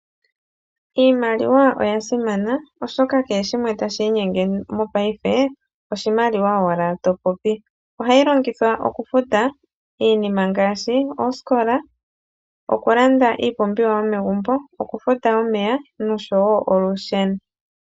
Iimaliwa oya simana oshoka kehe shimwe tashi inyenge mopaife oshimaliwa owala to popi. Ohayi longithwa okufuta iinima ngaashi oosikola, okulanda iipumbiwa yomegumbo, okufuta omeya noshowo olusheno.